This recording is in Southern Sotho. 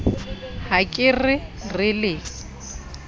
ha ke re re le